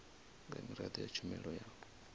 nga miraḓo ya tshumelo ya